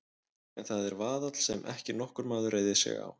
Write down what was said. En það er vaðall sem ekki nokkur maður reiðir sig á.